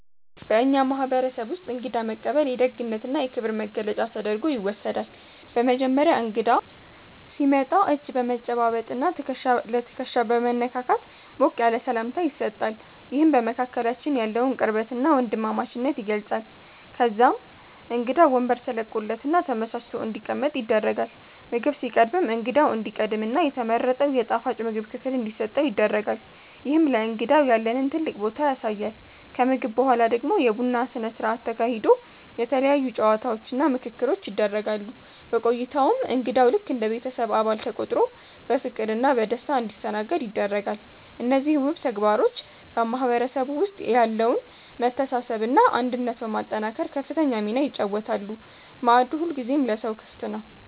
በእኛ ማህበረሰብ ውስጥ እንግዳ መቀበል የደግነትና የክብር መገለጫ ተደርጎ ይወሰዳል። በመጀመሪያ እንግዳ ሲመጣ እጅ በመጨባበጥና ትከሻ ለትከሻ በመነካካት ሞቅ ያለ ሰላምታ ይሰጣል፤ ይህም በመካከላችን ያለውን ቅርበትና ወንድማማችነት ይገልጻል። ከዛም እንግዳው ወንበር ተለቆለትና ተመቻችቶ እንዲቀመጥ ይደረጋል። ምግብ ሲቀርብም እንግዳው እንዲቀድምና የተመረጠው የጣፋጭ ምግብ ክፍል እንዲሰጠው ይደረጋል፤ ይህም ለእንግዳው ያለንን ትልቅ ቦታ ያሳያል። ከምግብ በኋላ ደግሞ የቡና ስነ ስርዓት ተካሂዶ የተለያዩ ጨዋታዎችና ምክክሮች ይደረጋሉ። በቆይታውም እንግዳው ልክ እንደ ቤተሰብ አባል ተቆጥሮ በፍቅርና በደስታ እንዲስተናገድ ይደረጋል። እነዚህ ውብ ተግባሮች በማህበረሰቡ ውስጥ ያለውን መተሳሰብና አንድነት በማጠናከር ከፍተኛ ሚና ይጫወታሉ፤ ማዕዱ ሁልጊዜም ለሰው ክፍት ነው።